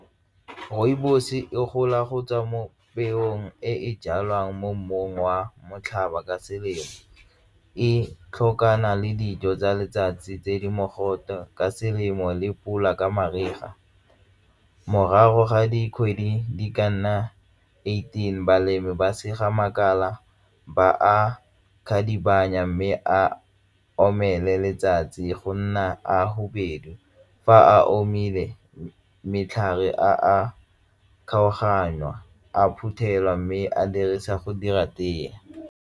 Rooibos e gola go tswa mo peong e e jalwang mo mmung wa motlhaba ka selemo e tlhokana le dijo tsa letsatsi tse di mogote ka selemo le pula ka mariga. Morago ga dikgwedi di ka nna eighteen balemi ba sega makala ba a mme a omelela letsatsi go nna a fa a omile matlhare a kgaoganya a phuthelwa mme a dirisa go dira tee.